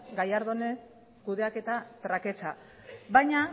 gallardonen kudeaketa traketsa baina